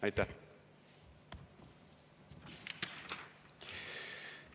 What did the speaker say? Aitäh!